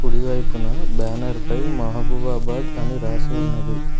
కుడివైపున బ్యానర్ పై మహబూబాబాద్ అని రాసి ఉన్నది.